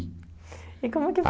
E como que